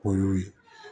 O y'o ye